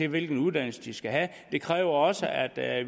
hvilken uddannelse de skal have det kræver også at at